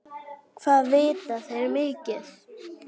Hvað vita þeir mikið?